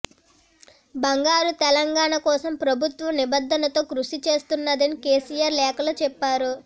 బంగారు తెలంగాణ కోసం ప్రభుత్వం నిబద్దతతో కృషి చేస్తున్నదని కెసిఆర్ లేఖలో చెప్పారు